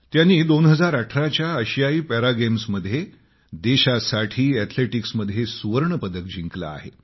त्यांनी 2018 च्या आशियाई पॅरा गेम्स मध्ये देशासाठी अॅथलेटीक्समध्ये सुवर्ण पदक जिंकलं आहे